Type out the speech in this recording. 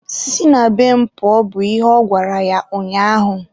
si na be m pụọ! bụ ihe ọ gwara ya ụnyaahụ.